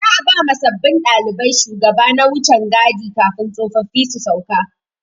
Za'a ba ma sabbin ɗalibai shugaba na wucan gadi kafin tsofaffin su sauka.